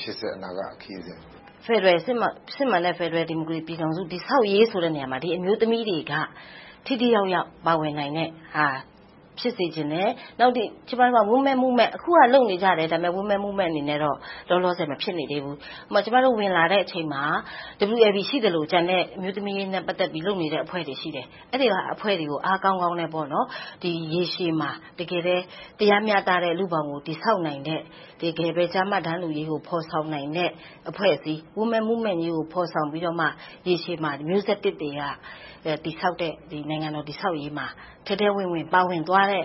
ရှေ့ဆက်အနာဂတ်ခရီးကို - ဖြေ ။ ။ စစ်မှန်တဲ့ ဖယ်ဒရယ်ပြည်ထောင်စု တည်ဆောက်ရေးဆိုတဲ့ နေရာမှာ အမျိုးသမီးတွေက ထိထိရောက်ရောက် ပါဝင်နိုင်တဲ့ဟာ ဖြစ်စေချင်တယ်။ နောက်တခုက ကျမတို့က Women Movement လုပ်နေကြတယ်။ အခုဟာက Women Movement တခုအနေနဲ့ ဖြစ်မနေသေးဘူး။ ကျမတို့ ဝင်လာတဲ့အချိန်မှာ WLB ရှိသလို၊ ကျန်တဲ့ အမျိုးသမီးရေးနဲ့ ပတ်သက်ပြီး လုပ်နေတဲ့ အဖွဲ့တွေ ရှိတယ်။ အဲဒီအဖွဲ့တွေကို အားကောင်းကောင်းနဲ့ ရေရှည်မှာ တရားမျှတတဲ့ လူ့ဘောင်ကို တည်ဆောက်နိုင်တဲ့ တကယ်ပဲ ကျားမ တန်းတူရေးကို ဖော်ဆောင်နိုင်တဲ့ အဖွဲ့အစည်း Women Movement ကြီးကို ဖော်ဆောင်ပြီးမှ ရေရှည်မှာ မျိုးဆက်သစ်တွေက တည်ဆောက်တဲ့ နိုင်ငံတော် တည်ဆောက်ရေးမှာ ထဲထဲဝင်ဝင် ပါဝင်သွားတဲ့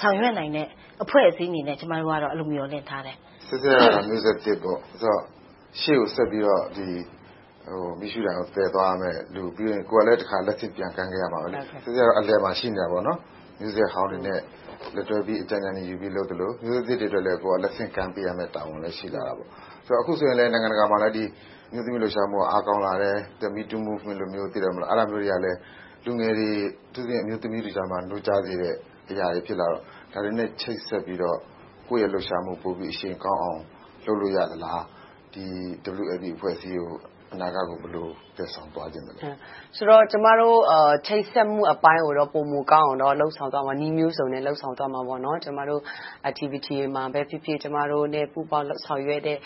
ဆောင်ရွက်နိုင်တဲ့ အဖွဲ့အစည်းအနေနဲ့ ကျမတို့ကတော့ အဲဒီလို မျှော်လင့်ထားတယ်။ မေး ။ ။ နော်ဆဲဆဲ က မျိုးဆက်သစ် ဖြစ်တယ်။ ရှေ့ကိုဆက်ပြီးတော့ မီးရှူးတိုင်ကို သယ်ဆောင်သွားရမယ့်လူ။ ပြီးတော့ ကိုယ်ကလဲ လက်ဆင့်ပြန်ကမ်းခဲ့ရမယ်။ ဆဲဆဲ က အလယ်မှာ ရှိနေတာပေါ့။ မျိးဆက်ဟောင်းတွေနဲ့ လက်တွဲပြီး အကြံဉာဏ်ယူသလို၊ မျိုးဆက်သစ်တွေအတွက်လဲ ကိုယ်က လက်ဆင့်ကမ်းပေးရမယ့်တာဝန်တွေ ရှိလာတယ်။ အခုဆိုရင် နိုင်ငံတကာမှာလည်း အမျိုးသမီးလှုပ်ရှားမှုတွေက အားကောင်းလာတယ်။… လူငယ်တွေ အထူးသဖြင့် အမျိုးသမီးထုကြားမှာ နိုးကြားစေတဲ့အရာတွေ ဖြစ်လာတော့ ဒါတွေနဲ့ ချိတ်ဆက်ပြီးတော့ ကိုယ့်ရဲ့ လှုပ်ရှားမှု အရှိန်ကောင်းအောင် လုပ်လို့ရသလား။ WLB အဖွဲ့အစည်း အနာဂတ်ကို ဘယ်လိုသယ်ဆောင်သွားချင်သလဲ။ ဖြေ ။ ။ ကျမတို့ ချိတ်ဆက်မှုအပိုင်းကိုတော့ ပိုမိုကောင်းအောင် လုပ်ဆောင်သွားမယ်။ နည်းမျိုးစုံနဲ့ လုပ်ဆောင်သွားမယ်။ ကျမတို့ Activity တွေမှာပဲဖြစ်ဖြစ် ကျမတို့နဲ့ ပူးပေါင်းလုပ်ဆောင်ကြတဲ့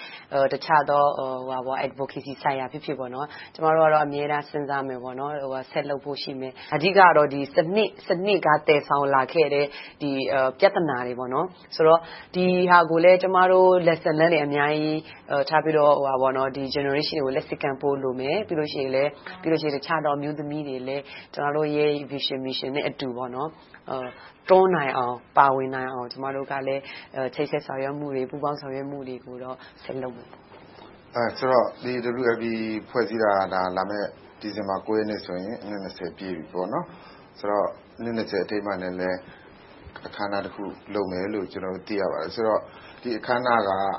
တခြားသော Adovocacy ဆိုင်ရာပဲဖြစ်ဖြစ်၊ ကျမတို့ကတော့ အမြဲတမ်း စဉ်းစားမယ်။ ဆက်လုပ်ဖို့ရှိတယ်။ အဓိကတော့ စနစ်က သယ်ဆောင်လာခဲ့တဲ့ ပြဿနာတွေ - ဒီဟာတွေကို ကျမတို့ Lessons Learned တွေ ထားပြီးတော့ နောက်မျိုးဆက်တွေကို လက်ဆင့်ကမ်းဖို့ လိုမယ်။ ပြီးတော့ အခြားသောအမျိုးသမီးတွေလဲ ကျမတို့ရဲ့ Vision, Mission နဲ့အတူ တွန်းနိုင်အောင်၊ ပါဝင်နိုင်အောင် ကျမတို့က ချိတ်ဆက်ဆောင်ရွက်မှုတွေ၊ ပူးပေါင်းဆောင်ရွက်မှုတွေကို ဆက်လုပ်သွားမယ်။ မေး ။ ။ ဆိုတော့ WLB ဖွဲ့စည်းတာ လာမယ့် ဒီဇင်ဘာ ရက်နေ့ဆိုရင် အနှစ် ပြည့်ပြီ။ ဆိုတော့ အနှစ် အထိမ်းအမှတ်အနေနဲ့ အခမ်းအနားတခု လုပ်မယ်လို့ ကျနော်တို့ သိရပါတယ်။ ဒီအခမ်းအနားကို ဘယ်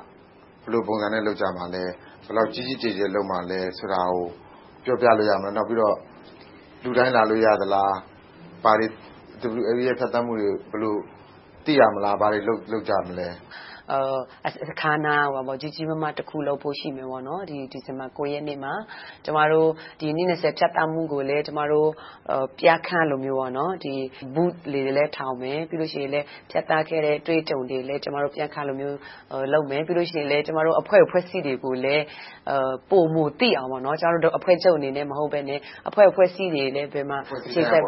လိုပုံစံနဲ့ လုပ်ကြမလဲ။ ဘယ်လောက်ကြီးကြီးကျယ်ကျယ် လုပ်မလဲဆိုတာကို ပြောပြလို့ရမလား။ နောက်ပြီးတော့ လူတိုင်းလာလို့ရသလား။ WLB ရဲ့ ဖြတ်သန်းမှုတွေကို ဘယ်လိုသိရမလဲ။ ဘာတွေလုပ်ကြမလဲ။ ဖြေ ။ ။ အခမ်းအနားတခု ကြီးကြီးမားမား လုပ်ဖို့တော့ ရှိတယ်။ ဒီဇင်ဘာလ ရက်နေ့မှာ ကျမတို့ အနှစ် ဖြတ်သန်းမှုကိုလည်း ပြခန်းသဘောမျိုး Booths တွေလည်း ထားရိှမယ်။ နောက်ပြီးတော့ ဖြတ်သန်းခဲ့တဲ့ အတွေ့အကြုံတွေကိုလည်း ပြခန်းသဘောမျိုး လုပ်မယ်။ အဖွဲ့အစည်းတွေကိုလည်း ပိုမိုသိအောင် ကျမတို့ အဖွဲ့ချုပ်အနေနဲ့ မဟုတ်ဘဲ၊ အဖွဲ့အစည်းတွေလည်း ချိတ်ဆက်ပြီး